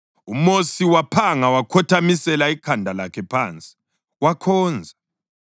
UMosi waphanga wakhothamisela ikhanda lakhe phansi, wakhonza.